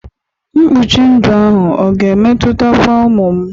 Mkpuchi ndụ ahụ ọ ga-emetutakwa ụmụ m?